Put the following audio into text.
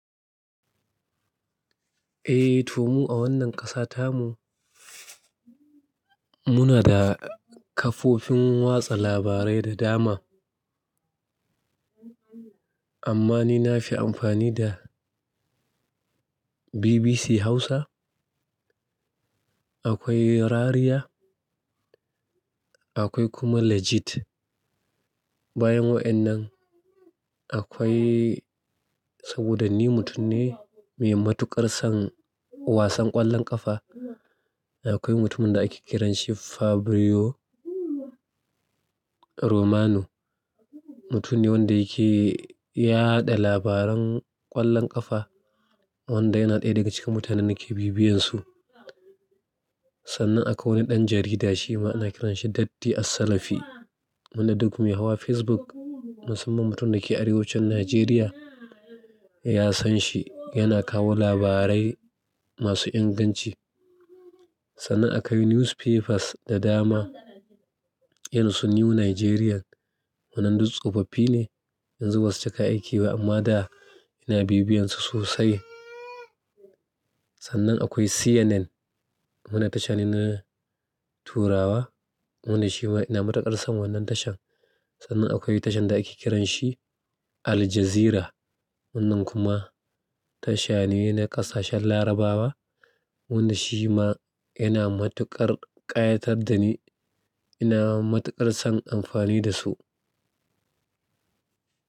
Eh to mu a wannan ƙasa tamu muna da kafofin watsa labarai da dama. Amma ni na fi amfani da BBC Hausa, akwai Rariya, akwai kuma Legit. Bayan wa'ennan akwai saboda ni mutum ne mai matuƙar son wasan ƙwallon ƙafa, akwai mutumin da ake kiranshi Fabrizio Romano. Mutum ne wanda yake yaɗa labaran ƙwallon ƙafa wanda yana ɗaya daga cikin mutanen nake bibiyansu. Tsana akwai wani dan jarida shima ana kiran shi Datti Assalafiy wanda duk muyi hawa Facebook, musamman mutum da ke arewacin Najeriya ya san shi, yana kawo labarai masu inganci. Sannan akwai Newspapers da dama, yanansu New Nigerian wannan duk tsofaffi ne, yanzu basu cika aiki ba amma da ina bibiyansu sosai. Tsanan akwai CNN. Wanan tashan in na turawa, wanda shi ma ina matukar san wannan tashan tsanan akwai tashan da ake kiran shi Al-Jazirah. Wannan kuma tasha ne na kasashen Larabawa. Wannan shi ma yana matuƙar ƙayatar da ni, ina matuƙar son amfani da su.